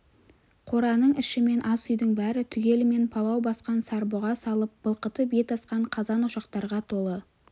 қораның іші мен ас үйдің бәрі түгелімен палау басқан сарбұға салып былқытып ет асқан қазан ошақтарға толы